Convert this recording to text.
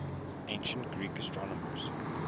ancient greek astronomers